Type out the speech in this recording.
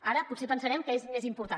ara potser pensarem que és més important